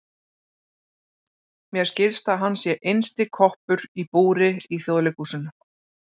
Mér skilst að hann sé innsti koppur í búri í Þjóðleikhúsinu.